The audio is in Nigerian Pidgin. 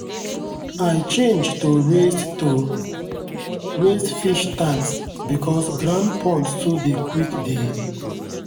i change to raised to raised fish tanks because ground ponds too dey quick dey.